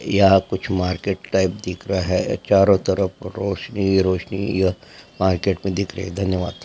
यहाँ कुछ market type दिख रहा है चारों तरफ रौसनी ही रौसनी यह मार्केट में दिख रही है धन्यवाद--